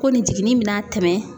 Ko nin jiginni bɛna tɛmɛn